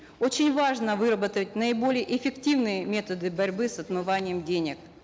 очень важно выработать наиболее эффективные методы борьбы с отмыванием денег